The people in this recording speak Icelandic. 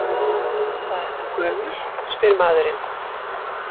Hvað ertu gömul, spyr maðurinn.